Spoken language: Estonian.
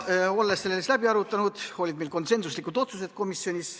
Olles selle läbi arutanud, tegime komisjonis konsensuslikud otsused.